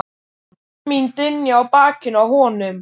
Orð mín dynja á bakinu á honum.